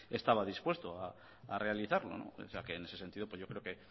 estaba dispuesto a realizarlo o sea que en ese sentido pues yo creo que